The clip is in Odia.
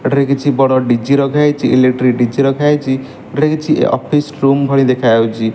ଏଠାରେ କିଛି ବଡ଼ ଡି_ଜି ରଖାହେଇଚି ଇଲେକ୍ଟ୍ରି ଡିଜି ରଖାହେଇଚି ଏଠାରେ କିଛି ଅଫିସ ରୁମ୍ ଭଳି ଦେଖାଯାଉଚି।